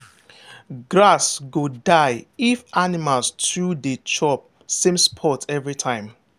grass go die if animals too dey chop same spot every time.